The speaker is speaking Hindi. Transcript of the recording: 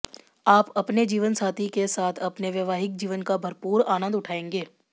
आप अपने जीवनसाथी के साथ अपने वैवाहिक जीवन का भरपूर आनंद उठाएंगे